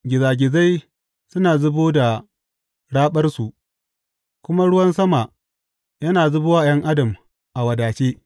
Gizagizai suna zubo da raɓarsu kuma ruwan sama yana zubowa ’yan adam a wadace.